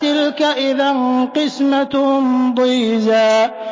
تِلْكَ إِذًا قِسْمَةٌ ضِيزَىٰ